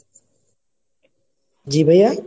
জি ভাইয়া?